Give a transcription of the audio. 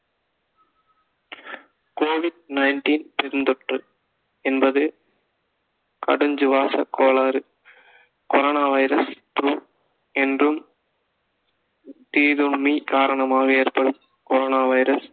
covid nineteen பெருந்தொற்று என்பது கடஞ்சு வாச கோளாறு corona வைரஸ் என்றும் தீதோன்மை காரணமாக ஏற்படும் corona வைரஸ்